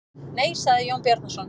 Nei, sagði Jón Bjarnason.